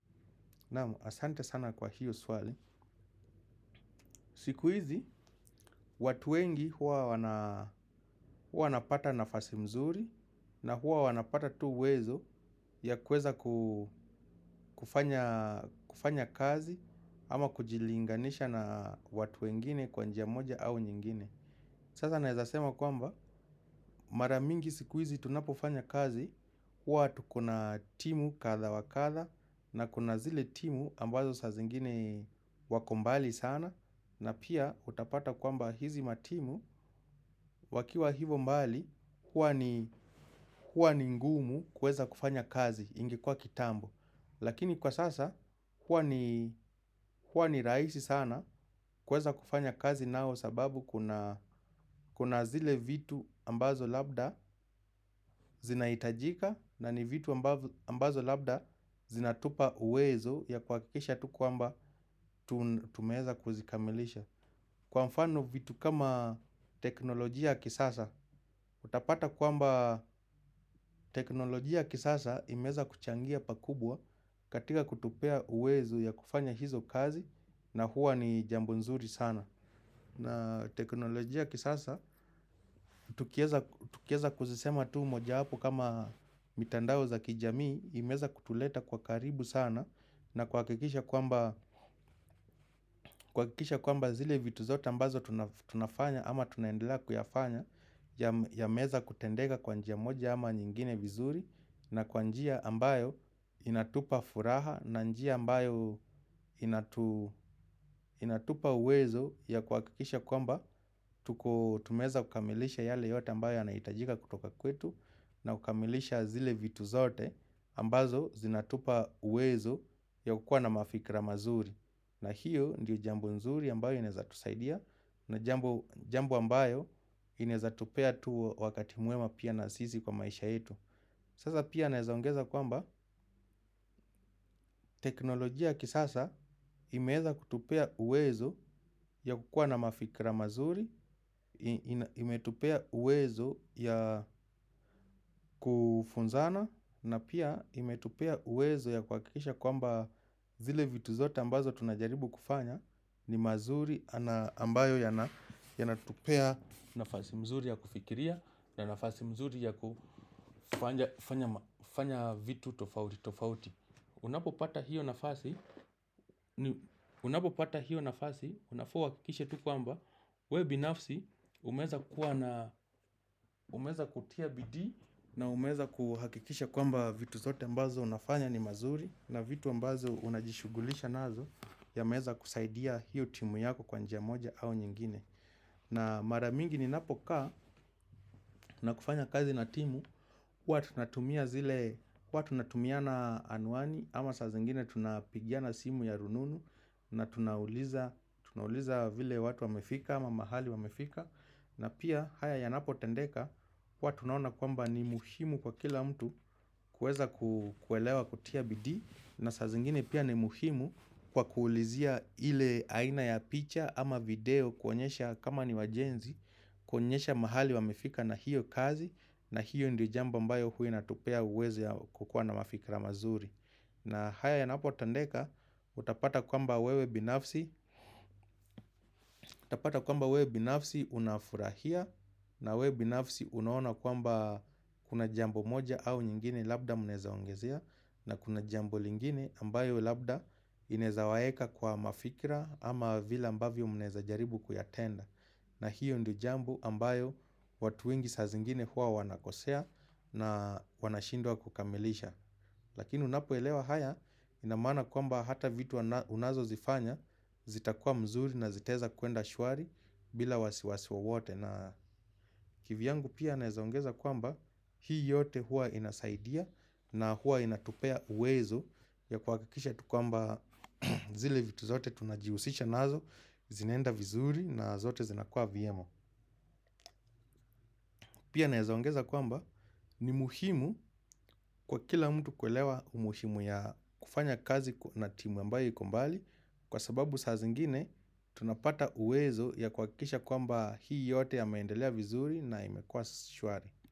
Asante sana kwa hiyo swali. Siku hizi, watu wengi huwa wanapata nafasi mzuri na huwa wanapata tu uwezo ya kuweza ku kufanya kazi ama kujilinganisha na watu wengine kwa njia moja au nyingine. Sasa naweza sema kwamba mara mingi sikuizi tunapofanya kazi huwa tu kuna timu kadha wa kadha na kuna zile timu ambazo saa zingine wako mbali sana na pia utapata kwamba hizi matimu wakiwa hivyo mbali huwa ni huwa ni ngumu kuweza kufanya kazi ingekua kitambo. Lakini kwa sasa, huwa ni rahisi sana kuweza kufanya kazi nao sababu kuna zile vitu ambazo labda zinahitajika na ni vitu ambazo labda zinatupa uwezo ya kuhakikisha tu kwamba tumeweza kuzikamilisha. Kwa mfano vitu kama teknolojia kisasa, utapata kwamba teknolojia kisasa imeweza kuchangia pakubwa katika kutupea uwezo ya kufanya hizo kazi na huwa ni jambo nzuri sana. Na teknolojia kisasa, tukiweza kuzisema tu mojawapo kama mitandao za kijamii, imeweza kutuleta kwa karibu sana na kuhakikisha kwamba zile vitu zote ambazo tunafanya ama tunaendelea kuyafanya yameweza kutendeka kwa njia moja ama nyingine vizuri na kwa njia ambayo inatupa furaha na njia ambayo inatupa uwezo ya kuhakikisha kwamba tumeweza kukamilisha yale yote ambayo yanahitajika kutoka kwetu na kukamilisha zile vitu zote ambazo zinatupa uwezo ya kukuwa na mafikra mazuri na hiyo ndiyo jambo nzuri ambayo inawezatusaidia na jambo ambayo inaweza tupea tu wakati mwema pia na sisi kwa maisha yetu. Sasa pia naweza ongeza kwamba teknolojia kisasa imeweza kutupea uwezo ya kukua na mafikra mazuri, imetupea uwezo ya kufunzana na pia imetupea uwezo ya kuhakikisha kwamba zile vitu zote ambazo tunajaribu kufanya ni mazuri ambayo yanatupea nafasi mzuri ya kufikiria na nafasi mzuri ya kufanya vitu tofauti. Unapopata hiyo nafasi, unapopata hiyo nafasi, unafaa uhakikishe tu kwamba, wewe binafsi umeweza kutia bidii na umeza kuhakikisha kwamba vitu zote ambazo unafanya ni mazuri na vitu ambazo unajishugulisha nazo yameweza kusaidia hiyo timu yako kwa njia moja au nyingine. Na maramingi ninapokaa na kufanya kazi na timu huwa tunatumia zile huwa tunatumia na anuani ama saa zingine tunapigiana simu ya rununu na tunauliza tunauliza vile watu wamefika ama mahali wamefika na pia haya yanapotendeka kwa tunaona kwamba ni muhimu kwa kila mtu kuweza kuelewa kutia bidii na saa zingine pia ni muhimu kwa kuulizia ile aina ya picha ama video kuonyesha kama ni wajenzi. Kuonyesha mahali wamefika na hiyo kazi. Na hiyo ndio jambo ambayo huwa inatupea uwezo ya kukua na mafikra mazuri. Na haya yanapotendeka utapata kwamba wewe binafsi utapata kwamba wewe binafsi unafurahia. Na wewe binafsi unaona kwamba kuna jambo moja au nyingine labda mnaweza ongezea. Na kuna jambo lingine ambayo labda linaweza waweka kwa mafikra ama vile ambavyo mnaweza jaribu kuyatenda. Na hiyo ndio jambo ambayo watu wengi saa zingine huwa wanakosea na wanashindwa kukamilisha. Lakini unapoelewa haya ina maana kwamba hata vitu unazozifanya zitakua mzuri na zitaweza kwenda shwari bila wasiwasi wowote. Na kivyangu pia naweza ongeza kwamba hii yote huwa inasaidia na huwa inatupea uwezo ya kuhakikisha tu kwamba zile vitu zote tunajihusisha nazo zinaenda vizuri na zote zinakua vyema. Pia naweza ongeza kwamba ni muhimu kwa kila mtu kuelewa umuhimu ya kufanya kazi na timu ambayo iko mbali. Kwa sababu saa zingine tunapata uwezo ya kuhakikisha kwamba hii yote yameendelea vizuri na imekua shwari.